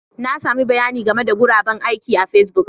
Na sami bayanin game da guraben aiki a Facebook